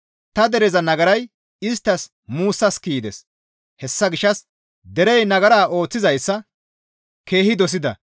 Ta dereza nagaray isttas muussas kiyides; hessa gishshas derey nagara ooththizayssa keehi dosida.